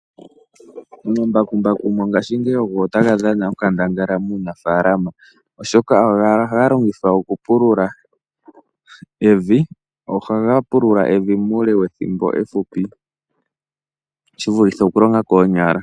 Omambakumbaku mongaashingeyi ogo taga dhana onkandangala muunafalama, oshoka ohaga longithwa oku pulula evi muule wethimbo ehupi shi vulithe oku longa koonyala.